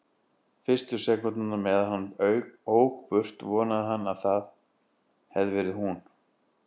Fyrstu sekúndurnar meðan hann ók burt vonaði hann að það hefði verið hún.